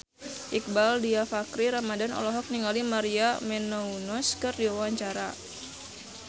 Iqbaal Dhiafakhri Ramadhan olohok ningali Maria Menounos keur diwawancara